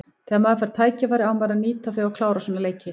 Þegar maður fær tækifæri á maður að nýta þau og klára svona leiki.